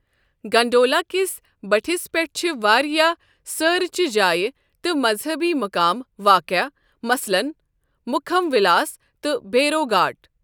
Gondola کِس بٔٹِھس پیٚٹھ چھےٚ واریاہ سٲرٕ چہِ جایہِ تہٕ مذہبی مُقام واقع مثلاً مُکھم وِلاس تہٕ بھیرو گھاٹ۔